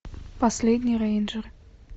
последний рейнджер